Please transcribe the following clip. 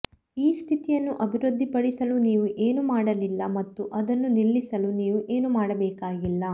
ಈ ಸ್ಥಿತಿಯನ್ನು ಅಭಿವೃದ್ಧಿಪಡಿಸಲು ನೀವು ಏನೂ ಮಾಡಲಿಲ್ಲ ಮತ್ತು ಅದನ್ನು ನಿಲ್ಲಿಸಲು ನೀವು ಏನೂ ಮಾಡಬೇಕಾಗಿಲ್ಲ